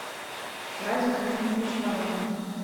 радик леонидович воронин